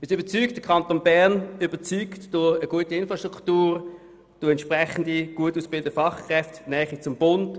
Wir sind überzeugt, der Kanton Bern überzeuge durch eine gute Infrastruktur, durch entsprechend gut ausgebildete Fachkräfte und die Nähe zum Bund.